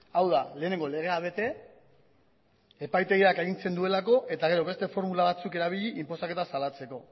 hau da lehenengo legea bete epaitegiak agintzen duelako eta gero beste formula batzuk erabili inposaketa salatzeko